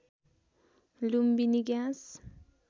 Lumbini gas